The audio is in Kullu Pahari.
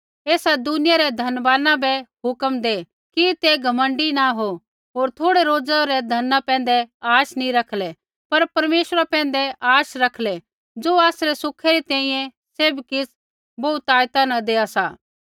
एसा दुनिया रै धनवाना बै हुक्म दै कि ते घमण्डी नी हो होर थोड़ै रोज़ा रै धना पैंधै आशा नी रखलै पर परमेश्वरा पैंधै आशा रखलै ज़ो आसरै सुखै री तैंईंयैं सैभ किछ़ बहुतायता न देआ सा